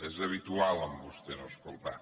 és habitual en vostè no escoltar